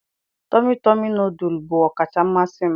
Tọmị tọmị nọdụlụ bụ ọkacha mmasị m.